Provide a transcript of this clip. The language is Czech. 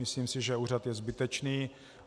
Myslím si, že úřad je zbytečný.